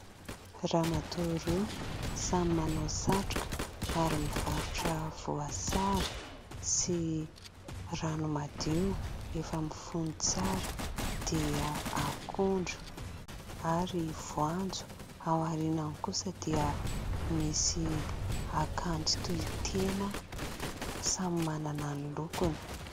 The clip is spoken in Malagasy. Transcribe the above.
ramatoa roa samy manao satroka ary mivarotra voasary sy rano madio efa mifono tsara dia akondro ary voanjo ao aorianany kosa dia misy akanjo toy tena samy manana ny lokony